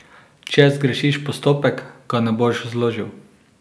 Če zgrešiš postopek, ga ne boš zložil.